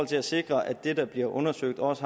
til at sikre at det der bliver undersøgt også